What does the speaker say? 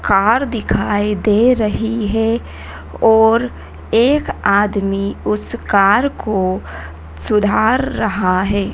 Car दिखाइ दे रही है और एक आदमी उस कार को सुधार रहा है।